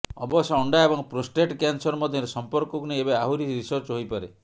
ଅବଶ୍ୟ ଅଣ୍ଡା ଏବଂ ପ୍ରୋଷ୍ଟେଟ କ୍ୟାନ୍ସର ମଧ୍ୟରେ ସମ୍ପର୍କକୁ ନେଇ ଏବେ ଆହୁରି ରିସର୍ଚ୍ଚ ହୋଇପାରେ